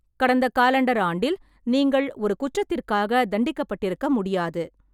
கடந்த காலண்டர் ஆண்டில் நீங்கள் ஒரு குற்றத்திற்காக தண்டிக்கப்பட்டிருக்க முடியாது.